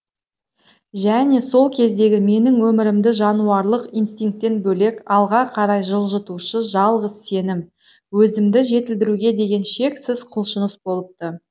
және сол кездегі менің өмірімді жануарлық инстинктен бөлек алға қарай жылжытушы жалғыз сенім өзімді жетілдіруге деген шексіз құлшыныс болыпты